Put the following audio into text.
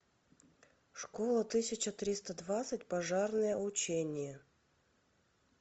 школа тысяча триста двадцать пожарные учения